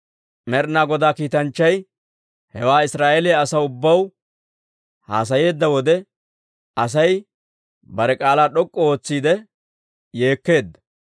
Med'inaa Godaa kiitanchchay hewaa Israa'eeliyaa asaw ubbaw haasayeedda wode, Asay bare k'aalaa d'ok'k'u ootsiidde yeekkeedda.